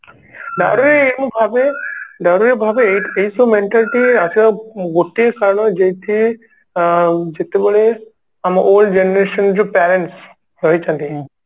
ଆରେ ମୁଁ ଭାବେ Dowry ରେ ଭାବେ ଏଇ ଏଇ ସବୁ mentality ଆସିବା ଗୋଟିଏ କାରଣ ଯୋଉଠି ଅ ଜେତେବେଳେ ଆମ old generation ଯୋ parents ରହିଛନ୍ତି